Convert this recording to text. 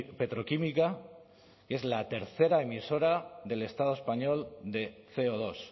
petroquímica que es la tercera emisora del estado español de ce o dos